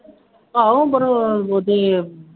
ਆਹੋ ਉਹਦੇ